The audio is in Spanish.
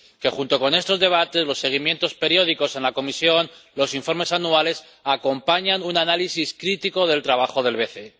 que, junto con estos debates, los seguimientos periódicos en la Comisión —los informes anuales— acompañan con un análisis crítico el trabajo del BCE.